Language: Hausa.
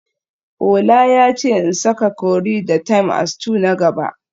Ola yace in saka curry da thyme a stew na gaba